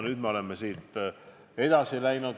Nüüd me oleme edasi läinud.